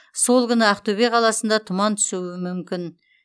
сол күні ақтөбе қаласында тұман түсуі мүмкін